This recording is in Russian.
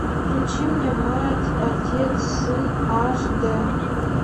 включи мне мать отец сын аш д